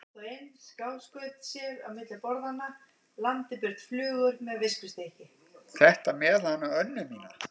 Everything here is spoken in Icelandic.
Þetta með hana Önnu mína.